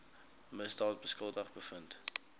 misdaad skuldig bevind